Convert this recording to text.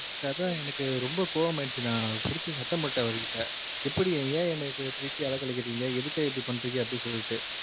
அதான் எனக்கு ரொம்ப கோவமாய்டிச்சி நா புடிச்சி சத்தம் போட்டன் அவருகிட்ட எப்படி ஏன் என்ன இப்டி புடிச்சி அலைகளைக்கிறிங்க எதுக்காக இப்டி பண்றிங்க அப்டி சொல்ட்டு